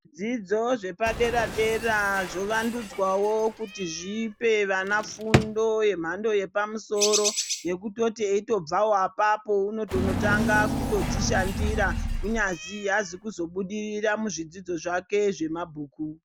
Zvidzidzo zvepadera-dera zvovandudzwavo kuti zvipe vana fundo yemhando yepamusoro. Yekutoti eitobvavo apapo unotonotanga kutodzishandira kunyazi haazi kuzobudirira muzvidzidzo zvake zvamabhuku.